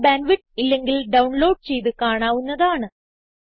നല്ല bandwidth ഇല്ലെങ്കിൽ download ചെയ്ത് കാണാവുന്നതാണ്